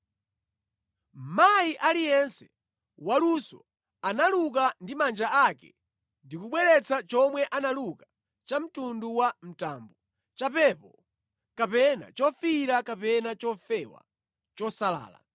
Mayi aliyense waluso analuka ndi manja ake ndi kubweretsa chomwe analuka cha mtundu wa mtambo, chapepo kapena chofiira kapena chofewa, chosalala.